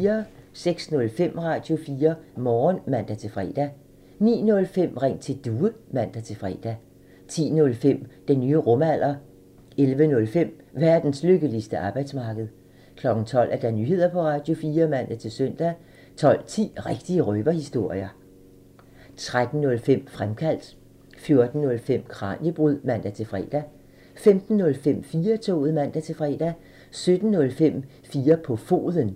06:05: Radio4 Morgen (man-fre) 09:05: Ring til Due (man-fre) 10:05: Den nye rumalder (man) 11:05: Verdens lykkeligste arbejdsmarked (man) 12:00: Nyheder på Radio4 (man-søn) 12:10: Rigtige røverhistorier (man) 13:05: Fremkaldt (man) 14:05: Kraniebrud (man-fre) 15:05: 4-toget (man-fre) 17:05: 4 på foden (man)